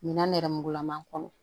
Minan nɛrɛmugulaman kɔnɔ